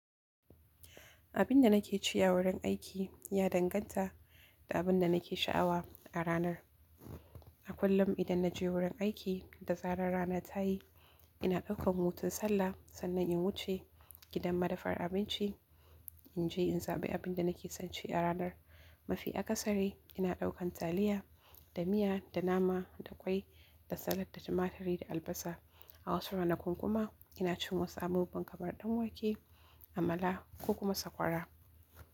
Abin da nake ci a wurin aiki ya danganta da abin da nake sha'awa a ranar. A kullum idan na je wurin aiki da zaran rana ta yi, ina ɗaukan hutun sallah sannan in wuce gidan madafar abinci, in je in zaɓi abin da nake son ci a ranar. Mafi akasari ina ɗaukar taliya da miya da nama da ƙwai da salad da tumatiri da albasa. A wasu ranakun kuma ina cin wasu abubuwan kamar ɗanwake, amala ko kuma sakwara.